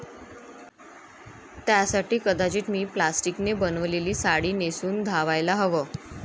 त्यासाठी कदाचित मी प्लास्टिकने बनवलेली साडी नेसून धावायला हवं'.